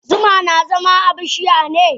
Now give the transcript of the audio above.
Zuma na zama a bishiya ne?